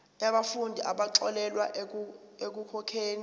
yabafundi abaxolelwa ekukhokheni